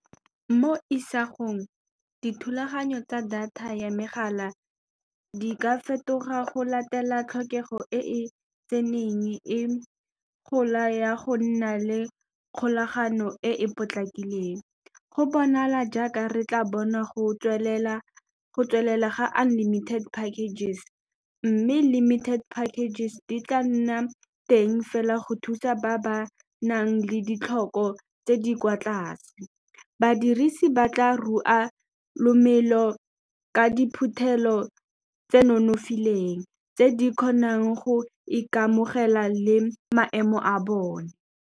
Mo isagong, dithulaganyo tsa data ya megala di ka fetoga go latela tlhokego e e tseneng e gola ya go nna le kgolagano e e potlakileng, go bonala jaaka re tla bona go tswelela ga unlimited packages mme limited packages di tla nna teng fela go thusa ba ba nang le ditlhoko tse di kwa tlase badirisi ba tla rua le thomelo ka diphuthelo tse nonofileng tse di kgonang go ikamogela le maemo a bone.